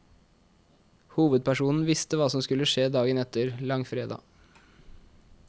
Hovedpersonen visste hva som skulle skje dagen etter, langfredag.